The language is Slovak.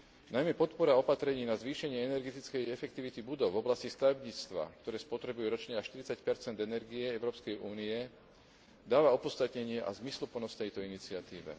Najmä podpora opatrení na zvýšenie energetickej efektivity budov v oblasti stavebníctva, ktoré spotrebuje ročne až 40 energie Európskej únie, dáva opodstatnenie a zmysluplnosť tejto iniciatíve.